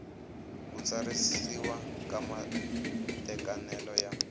ku tsarisiwa ka matekanelo ya